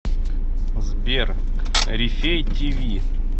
сбер рифей ти ви